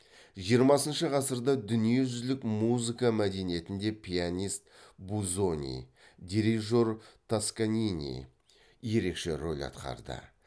жиырмасыншы ғасырда дүниежүзілік музыка мәдениетінде пианист бузони дирижер тосканини ерекше рөл атқарды